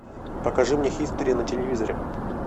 покажи мне хистори на телевизоре